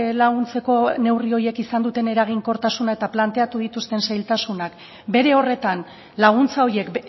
laguntzeko neurri horiek izan duten eraginkortasuna eta planteatu dituzten zailtasunak bere horretan laguntza horiek